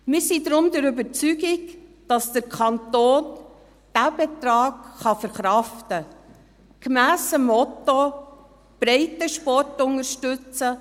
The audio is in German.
Wir sind deshalb der Überzeugung, dass der Kanton diesen Betrag verkraften kann, gemäss dem Motto, «Breitensport unterstützen: